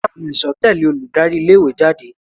Ṣé àwọn ẹ̀sọ́ àbò tẹ̀lẹ́ olùdarí ilé ìwé jáde?